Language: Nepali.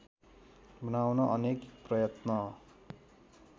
बनाउन अनेक प्रयत्न